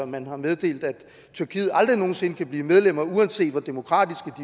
man har meddelt at tyrkiet aldrig nogensinde kan blive medlem uanset hvor demokratisk